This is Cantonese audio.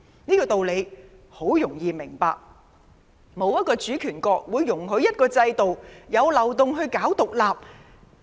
這道理很容易明白，沒有一個主權國會容許一個制度存有漏洞宣揚獨立。